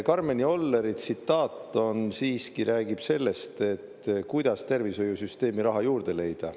Karmen Jolleri tsitaat siiski räägib sellest, et kuidas tervishoiusüsteemi raha juurde leida.